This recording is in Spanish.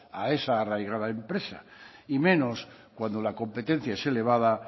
a esa arraigada empresa y menos cuando la competencia es elevada